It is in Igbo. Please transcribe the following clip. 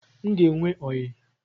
m ga enwe oyi